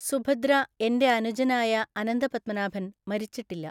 സുഭദ്ര എൻ്റെ അനുജനായ അനന്തപത്മനാഭൻ മരിച്ചിട്ടില്ല.